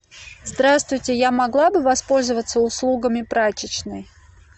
здравствуйте я могла бы воспользоваться услугами прачечной